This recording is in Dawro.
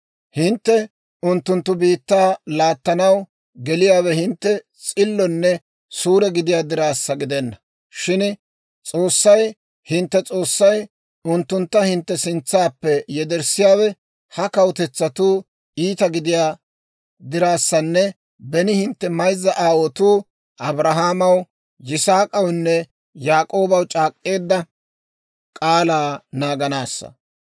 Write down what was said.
Hintte unttunttu biittaa laattanaw geliyaawe hintte s'illonne suure gidiyaa dirassa gidenna; shin S'oossay hintte S'oossay unttuntta hintte sintsaappe yederssiyaawe ha kawutetsatuu iita gidiyaa dirassanne beni hintte mayzza aawaatoo, Abrahaamaw, Yisaak'awunne Yaak'oobaw c'aak'k'eedda k'aalaa naaganaassa.